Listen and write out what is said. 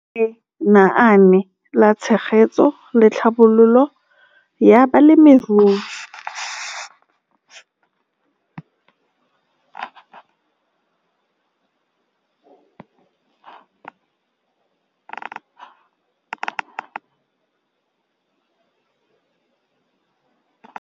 Lenaane la Tshegetso le Tlhabololo ya Balemirui.